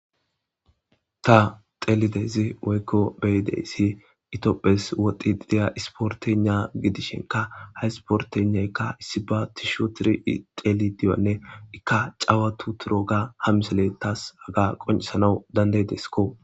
Ta xelidezi woykko beyideyssi itopphes woxi ideya isportena gidishenka ha isportenaykka issi ba tisho tiri teli diyanne ikka cawatu turo ga ha miseletas aga qoncisanau danday deskko